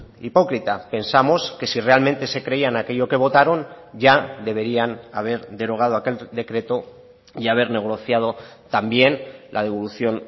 hipócrita pensamos que si realmente se creían aquello que votaron ya deberían haber derogado aquel decreto y haber negociado también la devolución